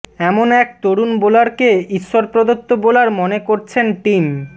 এমন এক তরুন বোলারকে ঈশ্বর প্রদত্ত বোলার মনে করছেন টীম